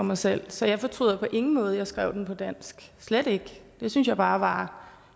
mig selv så jeg fortryder på ingen måde at jeg skrev den på dansk slet ikke det synes jeg bare var